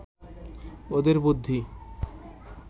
ওদের বুদ্ধি